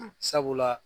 Sabula